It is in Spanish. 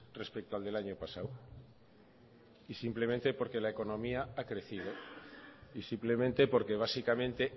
respecto al del año pasado y simplemente porque la economía ha crecido y simplemente porque básicamente